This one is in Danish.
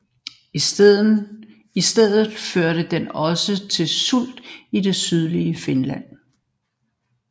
I stedet førte den også til sult i det sydlige Finland